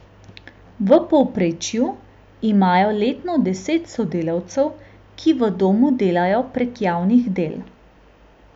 V povprečju imajo letno deset sodelavcev, ki v domu delajo prek javnih del.